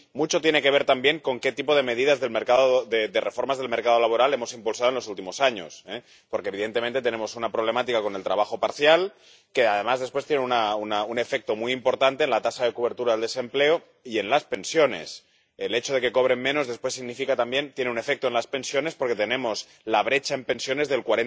Mucho tiene que ver también con el tipo de medidas, de reformas del mercado laboral, que hemos impulsado en los últimos años, porque, evidentemente, tenemos una problemática con el trabajo parcial, que, además, después tiene un efecto muy importante en la tasa de cobertura del desempleo y en las pensiones. El hecho de que cobren menos también tiene un efecto en las pensiones, porque tenemos una brecha en pensiones del